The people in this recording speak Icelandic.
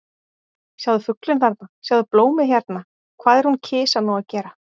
Sjáðu fuglinn þarna, sjáðu blómið hérna- hvað er hún kisa nú að gera?